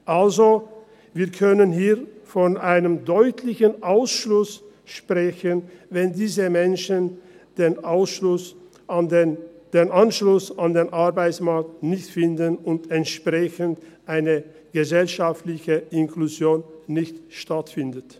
Also: Wir können hier von einem deutlichen Ausschluss sprechen, wenn diese Menschen den Anschluss an den Arbeitsmarkt nicht finden und entsprechend eine gesellschaftliche Inklusion nicht stattfindet.